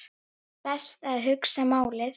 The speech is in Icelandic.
Best að hugsa málið.